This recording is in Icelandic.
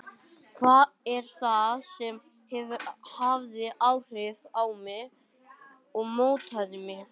Hvað er það sem hefur haft áhrif á mig og mótað mig?